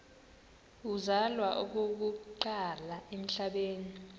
uzalwa okokuqala emhlabeni